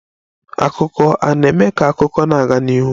Akụkọ a na-eme ka akụkọ na-aga n'ihu.